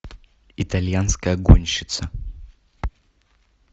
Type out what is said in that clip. итальянская гонщица